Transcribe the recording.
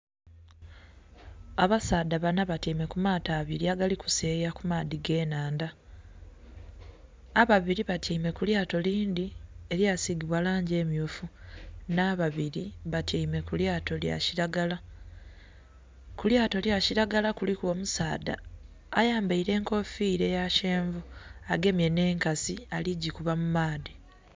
Abasaadha banna batyaime ku mato abiri agali kuseyeya ku maadhi ge nhandha, ababiri batyaime ku lyato lindhi elya sigibwa langi emyufu nha babiri batyaime ku lyato lya kilagala . Ku lyato lya kilagala kuliku omusaadha ayambaire enkofira eya kyenvu agemye nhe enkasi ali gikuba mu maadhi.